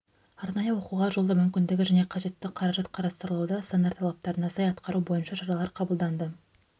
арнайы оқуға жолдау мүмкіндігі және қажетті қаражат қарастырылуда стандарт талаптарына сай атқару бойынша шаралар қабылданды